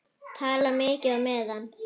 Tala mikið á meðan.